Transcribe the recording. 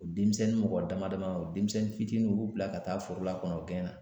O denmisɛnnin mɔgɔ dama dama o denmisɛnnin fitininw u b'u bila ka taa foro la kɔni o gɛnna